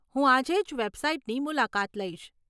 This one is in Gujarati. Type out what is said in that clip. હું આજેજ વેબસાઈટની મુલાકાત લઈશ.